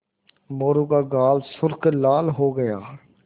मोरू का गाल सुर्ख लाल हो गया